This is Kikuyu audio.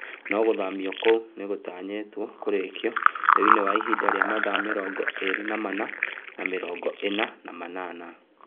No gũthamio kũu nĩgũtanyĩtwo kũrĩkio thĩiniĩ wa ihinda rĩa mathaa mĩrongo ĩrĩ na mana na mĩrongo ĩna na manana